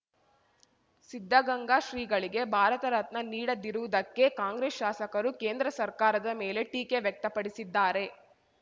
ಸಿದ್ಧಗಂಗಾ ಶ್ರೀಗಳಿಗೆ ಭಾರತ ರತ್ನ ನೀಡದಿರುವುದಕ್ಕೆ ಕಾಂಗ್ರೆಸ್‌ ಶಾಸಕರು ಕೇಂದ್ರ ಸರ್ಕಾರದ ಮೇಲೆ ಟೀಕೆ ವ್ಯಕ್ತಪಡಿಸಿದ್ದಾರೆ